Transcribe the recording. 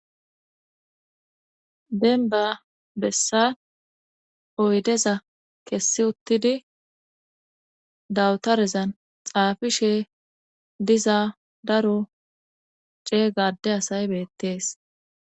Denba bessa oydeza kessi uttidi dawutarezan xaafishshe diza daro ceegga adde asay beettees